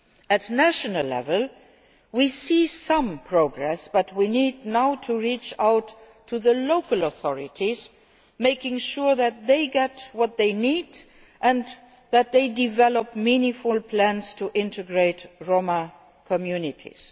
At national level we are seeing some progress, but we need now to reach out to the local authorities, making sure that they get what they need and that they develop meaningful plans to integrate Roma communities.